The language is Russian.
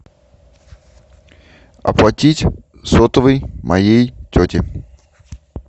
оплатить сотовый моей тети